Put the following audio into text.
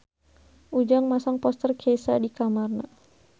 Ujang masang poster Kesha di kamarna